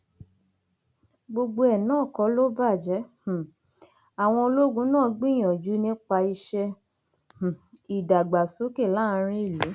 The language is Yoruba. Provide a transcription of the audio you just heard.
gbogbo ẹ náà kọ ló bàjẹ um àwọn ológun náà gbìyànjú nípa iṣẹ um ìdàgbàsókè láàrin ìlú